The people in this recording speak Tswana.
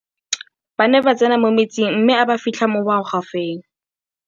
ba ne ba tsene mo metsing mme a ba fitlha mo magwafeng